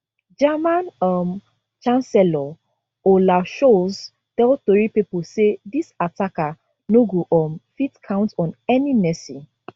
german um chancellor olaf scholz tell tori pipo say dis attacker no go um fit count on any mercy